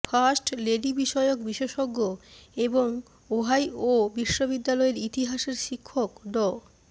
first লেডিবিষয়ক বিশেষজ্ঞ এবং ওহাইও বিশ্ববিদ্যালয়ের ইতিহাসের শিক্ষক ড